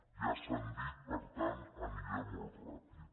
ja s’han dit per tant aniré molt ràpid